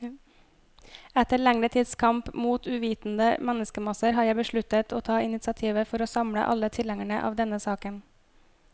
Etter lengre tids kamp mot uvitende menneskemasser, har jeg besluttet å ta initiativet for å samle alle tilhengere av denne saken.